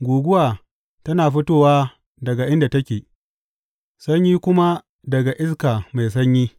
Guguwa tana fitowa daga inda take, sanyi kuma daga iska mai sanyi.